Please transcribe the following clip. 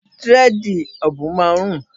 Dírẹ́dìì òbùn máa ń rùn.